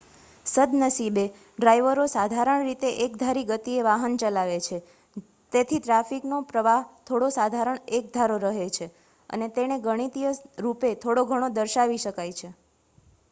સદ્નસીબે ડ્રાઇવરો સાધારણ રીતે એકધારી ગતિએ વાહન ચલાવે છે તેથી ટ્રાફિકનો પ્રવાહ થોડો સાધારણ એકધારો રહે છે અને તેને ગણિતીય રૂપે થોડોઘણો દર્શાવી શકાય છે